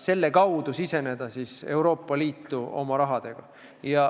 selle kaudu oma rahaga Euroopa Liitu siseneda.